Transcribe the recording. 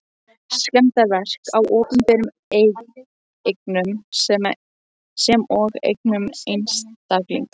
Skemmdarverk á opinberum eignum sem og eignum einstaklinga.